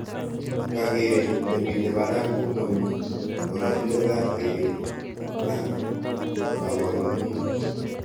Kakeret nemite barak komami oratinwekab keret ak kabarunoik